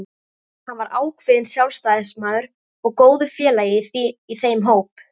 Hann var ákveðinn sjálfstæðismaður og góður félagi í þeim hópi.